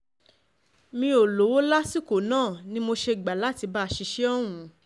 mi ò lówó lọ́wọ́ lásìkò lọ́wọ́ lásìkò náà ni mo ṣe gbà láti bá a ṣiṣẹ́ ọ̀hún